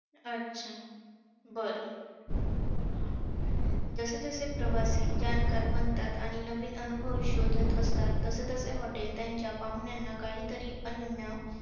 अच्छा! बरं! हा. जसेजसे प्रवासी जाणकार बनतात आणि नवीन अनुभव शोधत असतात, तसेतसे hotel त्यांच्या पाहुण्यांना काहीतरी अनन्य